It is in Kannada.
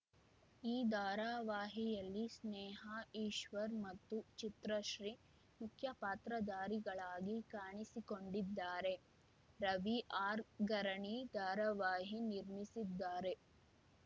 ಈ ಧಾರಾವಾಹಿಯಲ್ಲಿ ಸ್ನೇಹಾ ಈಶ್ವರ್‌ ಮತ್ತು ಚಿತ್ರಶ್ರೀ ಮುಖ್ಯ ಪಾತ್ರಧಾರಿಗಳಾಗಿ ಕಾಣಿಸಿಕೊಂಡಿದ್ದಾರೆ ರವಿ ಆರ್‌ಗರಣಿ ಧಾರಾವಾಹಿ ನಿರ್ಮಿಸಿದ್ದಾರೆ